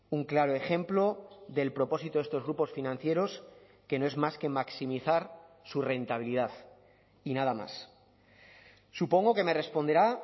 un claro ejemplo del propósito de estos grupos financieros que no es más que maximizar su rentabilidad y nada más supongo que me responderá